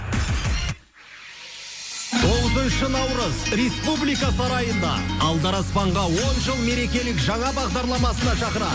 тоғызыншы наурыз республика сарайында алдараспанға он жыл мерекелік жаңа бағдарламасына шақырады